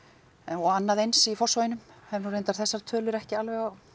og annað eins í Fossvoginum hef nú reyndar þessar tölur ekki alveg á